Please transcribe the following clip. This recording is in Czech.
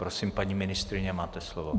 Prosím, paní ministryně, máte slovo.